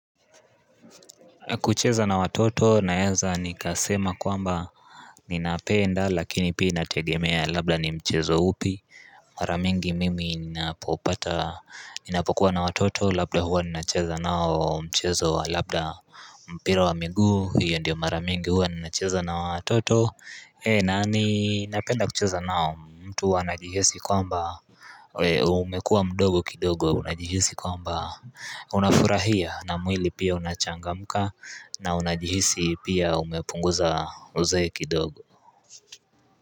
Kucheza na watoto naeza nikasema kwamba nina penda lakini pia tinategemea labda ni mchezo upi Maramingi mimi ninapopata ninapokuwa na watoto labda huwa ninacheza nao mchezo Labda mpira wa miguu hiyo ndio maramingi huwa ninacheza na hawa watoto na ni napenda kucheza nao mtu wanajihisi kwamba umekua mdogo kidogo unajihisi kwamba unafurahia na mwili pia unachangamka na unajihisi pia umepunguza uzee kidogo.